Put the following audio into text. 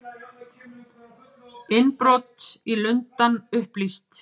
Innbrot í Lundann upplýst